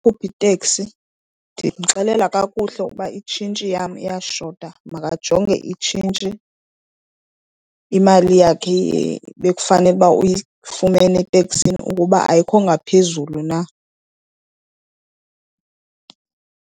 iteksi, ndimxelela kakuhle ukuba itshintshi yam iyashota makajonge itshintshi, imali yakhe bekufanele uba uyifumene eteksini ukuba ayikho ngaphezulu na.